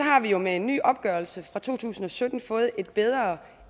har vi jo med en ny opgørelse fra to tusind og sytten fået et bedre